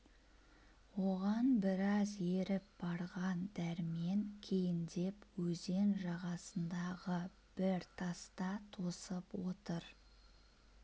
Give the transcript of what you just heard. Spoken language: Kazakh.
оған біраз еріп барған дәрмен кейіндеп өзен жағасындағы бір таста тосып отыр